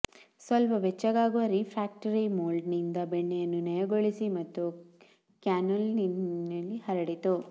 ಸ್ವಲ್ಪ ಬೆಚ್ಚಗಾಗುವ ರಿಫ್ರ್ಯಾಕ್ಟರಿ ಮೊಲ್ಡ್ನಿಂದ ಬೆಣ್ಣೆಯನ್ನು ನಯಗೊಳಿಸಿ ಮತ್ತು ಕ್ಯಾನ್ನೆಲ್ಲೋನಿ ಹರಡಿತು